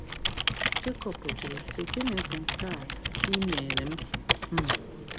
Jekọb jụrụ sị: “Gịnị bụ nke a i um mere m? m?